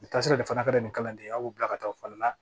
U bɛ taa sira de fana ka di kalanden ye aw b'u bila ka taa fali la